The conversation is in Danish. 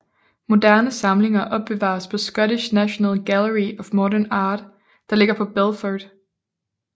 Moderne samlinger opbevares på Scottish National Gallery of Modern Art der ligger på Belford